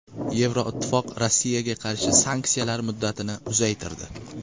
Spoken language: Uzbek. Yevroittifoq Rossiyaga qarshi sanksiyalar muddatini uzaytirdi.